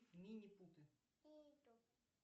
минипуты